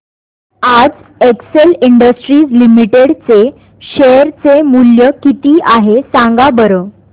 आज Excel Industries Limited चे share चे मूल्य किती आहे सांगा बरं